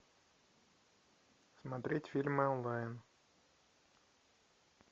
смотреть фильмы онлайн